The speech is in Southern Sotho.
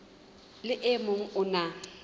le o mong o na